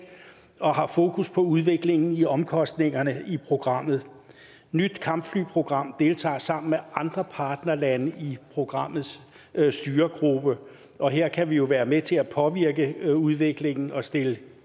og har fokus på udviklingen i omkostningerne i programmet nyt kampfly program deltager sammen med andre partnerlande i programmets styregruppe og her kan vi jo være med til at påvirke udviklingen og stille